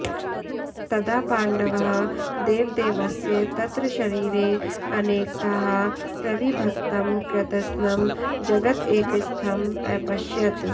तदा पाण्डवः देवदेवस्य तत्र शरीरे अनेकधा प्रविभक्तं कृत्स्नं जगत् एकस्थम् अपश्यत्